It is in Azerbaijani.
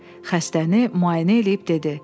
Xəstəni müayinə eləyib dedi: